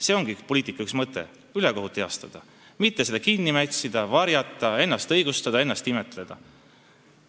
See ongi üks poliitika põhimõtteid: ühekohut tuleb heastada, mitte seda kinni mätsida, varjata, ennast õigustada, ennast imetleda.